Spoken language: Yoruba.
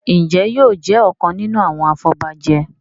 Njé yóò jé ọkàn nínú àwọn afobaje?